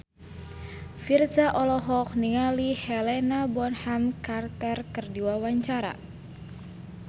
Virzha olohok ningali Helena Bonham Carter keur diwawancara